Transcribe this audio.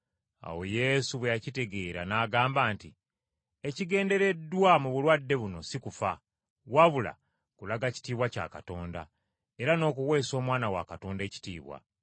Naye Yesu bwe yakitegeera n’agamba nti, “Ekigendereddwa mu bulwadde buno si kufa, wabula kulaga kitiibwa kya Katonda, era n’okuweesa Omwana wa Katonda ekitiibwa.”